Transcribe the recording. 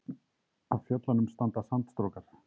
Af fjöllunum standa sandstrókar.